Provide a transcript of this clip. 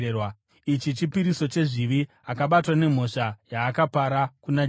Ichi chipiriso chezvivi, akabatwa nemhosva yaakapara kuna Jehovha.”